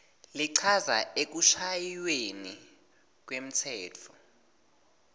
lichaza ekushayweni kwemtsetfo